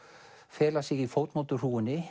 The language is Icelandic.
fela sig í